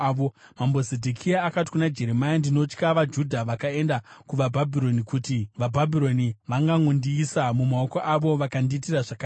Mambo Zedhekia akati kuna Jeremia, “Ndinotya vaJudha vakaenda kuvaBhabhironi, kuti vaBhabhironi vangangondiisa mumaoko avo vakandiitira zvakaipa.”